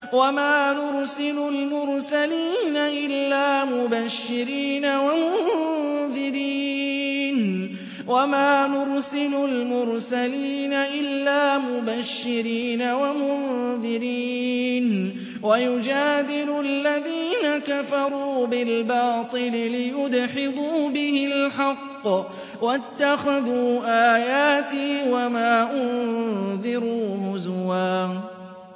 وَمَا نُرْسِلُ الْمُرْسَلِينَ إِلَّا مُبَشِّرِينَ وَمُنذِرِينَ ۚ وَيُجَادِلُ الَّذِينَ كَفَرُوا بِالْبَاطِلِ لِيُدْحِضُوا بِهِ الْحَقَّ ۖ وَاتَّخَذُوا آيَاتِي وَمَا أُنذِرُوا هُزُوًا